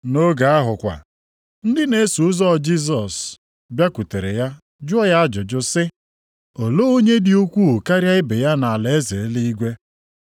Nʼoge ahụ kwa, ndị na-eso ụzọ Jisọs bịakwutere ya jụọ ajụjụ sị, “Olee onye dị ukwuu karịa ibe ya nʼalaeze eluigwe?”